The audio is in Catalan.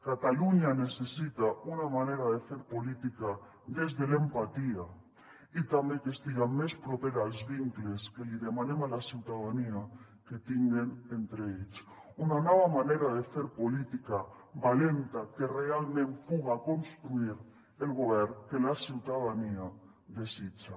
catalunya necessita una manera de fer política des de l’empatia i també que estiga més propera als vincles que li demanem a la ciutadania que tinguen entre ells una nova manera de fer política valenta que realment puga construir el govern que la ciutadania desitja